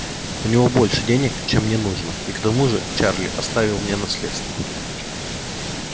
у него больше денег чем мне нужно и к тому же чарли оставил мне наследство